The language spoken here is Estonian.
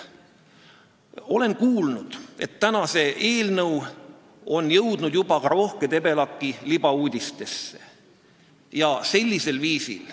Olen kuulnud, et tänane eelnõu on jõudnud juba ka Rohke Debelaki libauudistesse.